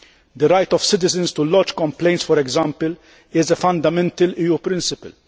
The right of citizens to lodge complaints, for example, is a fundamental EU principle.